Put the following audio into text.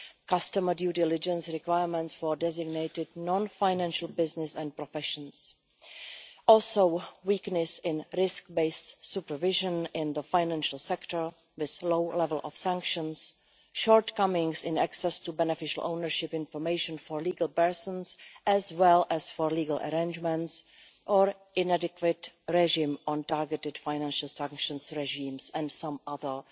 customer due diligence requirements for designated non-financial businesses and professions, weakness in risk-based supervision in the financial sector with a low level of sanctions, shortcomings in access to beneficial ownership information for legal persons, as well as for legal arrangements or inadequate regime on targeted financial sanctions and some other